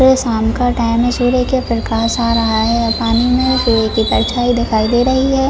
ये शाम का टाइम है सूर्य का प्रकाश आ रहा है और पानी में सूर्य की परछाई दिखाई दे रही है।